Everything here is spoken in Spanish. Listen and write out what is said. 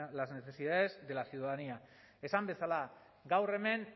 las necesidades de la ciudadanía esan bezala gaur hemen